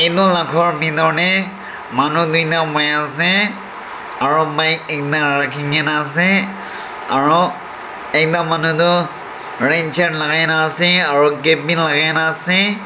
Nu la bhedor tey manu nui ta boi ase aro bike ekta rakhe kena ase aro ekta manu tho ren shirt lakai kena ase aro cap beh lakai na ase.